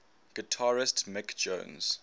guitarist mick jones